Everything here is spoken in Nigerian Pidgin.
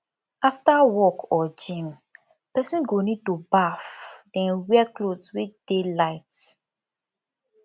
after work or gym person go need to baff then wear cloth wey det light